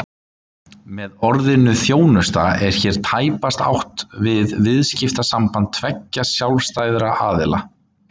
Með orðinu þjónusta er hér tæpast átt við viðskiptasamband tveggja sjálfstæðra aðila.